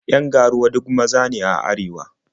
Yan ga-ruwa duk maza ne a arewa.